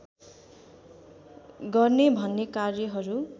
गर्ने भन्ने कार्यहरू